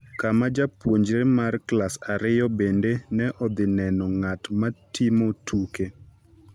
kama japuonjre mar Klas Ariyo bende ne dhi neno ng’at ma timo tuke